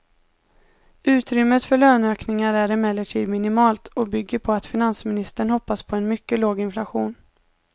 Utrymmet för löneökningar är emellertid minimalt och bygger på att finansministern hoppas på en mycket låg inflation.